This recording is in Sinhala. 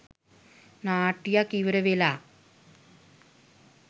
නාට්‍යයක් ඉවර වෙලා.